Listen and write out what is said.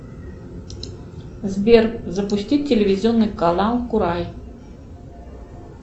сбер запусти телевизионный канал курай